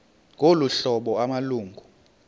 ngolu hlobo amalungu